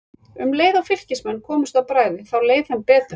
Um leið og Fylkismenn komust á bragðið þá leið þeim betur.